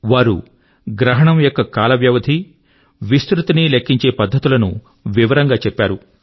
వారు గ్రహణం యొక్క కాల వ్యవధి మరియు ఎక్స్టెంట్ ను కాల్క్యులేట్ చేసే పద్ధతుల ను వివరం గా చెప్పారు